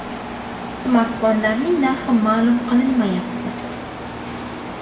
Smartfonlarning narxi ma’lum qilinmayapti.